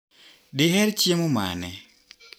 Diher chiemo mane?